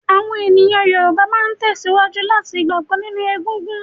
Àwọn èèyàn Yorùbá máa tẹ̀síwájú láti ma gbàgbọ́ nínú egungun